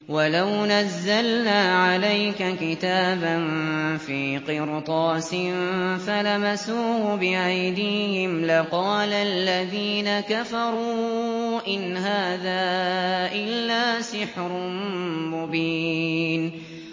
وَلَوْ نَزَّلْنَا عَلَيْكَ كِتَابًا فِي قِرْطَاسٍ فَلَمَسُوهُ بِأَيْدِيهِمْ لَقَالَ الَّذِينَ كَفَرُوا إِنْ هَٰذَا إِلَّا سِحْرٌ مُّبِينٌ